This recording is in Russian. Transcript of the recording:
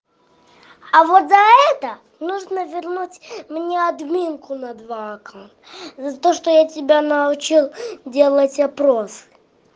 а вот за это нужно вернуть мне админку на два акка за то что я тебя научил делать опрос